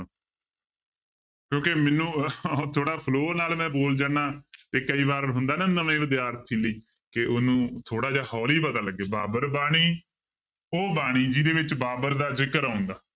ਕਿਉਂਕਿ ਮੈਨੂੰ ਥੋੜ੍ਹਾ flow ਨਾਲ ਮੈਂ ਬੋਲ ਜਾਨਾ ਤੇ ਕਈ ਵਾਰ ਹੁੰਦਾ ਨਾ ਨਵੇਂ ਵਿਦਿਆਰਥੀ ਲਈ ਕਿ ਉਹਨੂੰ ਥੋੜ੍ਹਾ ਜਿਹਾ ਹੌਲੀ ਪਤਾ ਲੱਗੇ ਬਾਬਰ ਬਾਣੀ, ਉਹ ਬਾਣੀ ਜਿਹਦੇ ਵਿੱਚ ਬਾਬਰ ਦਾ ਜ਼ਿਕਰ ਆਉਂਦਾ।